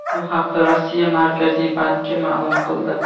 Bu haqda Rossiya Markaziy banki ma’lum qildi .